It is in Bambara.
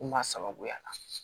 Kuma sababuya la